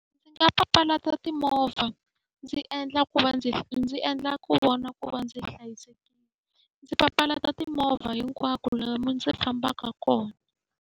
Ndzi nga papalata timovha, ndzi endla ku va ndzi ndzi endla ku vona ku va ndzi hlayisekile. Ndzi papalata timovha hinkwako lomu ndzi fambaka kona.